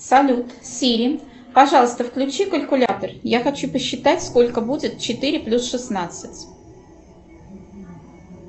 салют сири пожалуйста включи калькулятор я хочу посчитать сколько будет четыре плюс шестнадцать